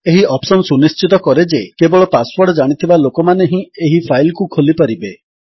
ଏହି ଅପ୍ସନ୍ ସୁନିଶ୍ଚିତ କରେ ଯେ କେବଳ ପାସୱର୍ଡ ଜାଣିଥିବା ଲୋକମାନେ ହିଁ ଏହି ଫାଇଲ୍ କୁ ଖୋଲିପାରିବେ